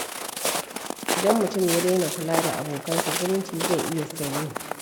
Idan mutum ya daina kula da abokansa, zumunci zai iya sanyi.